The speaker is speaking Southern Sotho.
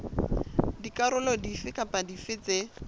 dikarolo dife kapa dife tse